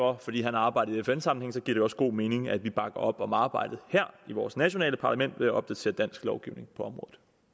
og fordi han har arbejdet i fn sammenhæng giver det også god mening at vi bakker op om arbejdet her i vores nationale parlament ved at opdatere dansk lovgivning på